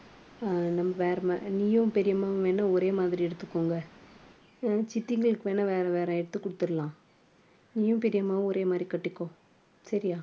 அஹ் நம்ம வேறம்மா நீயும் பெரியம்மாவும் வேணும்னா ஒரே மாதிரி எடுத்துக்கோங்க சித்திங்களுக்கு வேணா வேற வேற எடுத்து கொடுத்திடலாம் நீயும் பெரியம்மாவும் ஒரே மாதிரி கட்டிக்கோ. சரியா